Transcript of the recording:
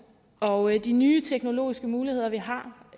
og de nye teknologiske muligheder vi har